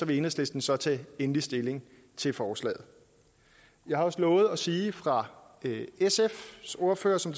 vil enhedslisten så tage endelig stilling til forslaget jeg har lovet at sige fra sfs ordfører som